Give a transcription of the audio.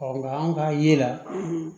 nka an ka ye la